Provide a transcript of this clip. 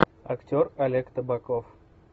актер олег табаков